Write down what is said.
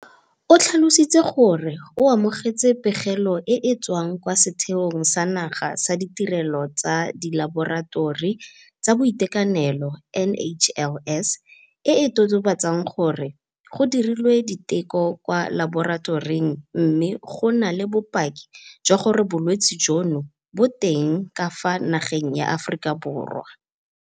O tlhalositse gore o amogetse pegelo e e tswang kwa Setheong sa Naga sa Ditirelo tsa Dilaboratori tsa Boitekanelo, NHLS, e e totobatsang gore go dirilwe diteko kwa laboratoring mme go na le bopaki jwa gore bolwetse jono bo teng ka fa nageng ya Aforika Borwa.